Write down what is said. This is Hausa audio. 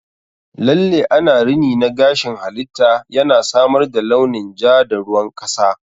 Lalle ana rini na gashin halitta, yana samar da launin ja da ruwan kasa.